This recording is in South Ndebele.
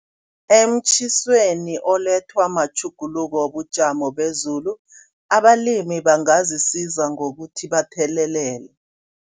Emtjhisweni olethwa matjhuguluko wobujamo bezulu abalimi bangazisiza ngokuthi bathelelele.